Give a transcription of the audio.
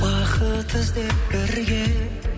бақыт іздеп бірге